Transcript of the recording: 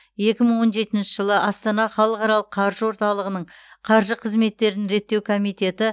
екі мың он жетінші жылы астана халықаралық қаржы орталығының қаржы қызметтерін реттеу комитеті